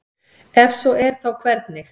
ef svo er þá hvernig